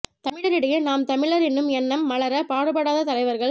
தமிழரிடையே நாம் தமிழர் என்னும் எண்ணம்மலர பாடுபடாத தலைவர்கள்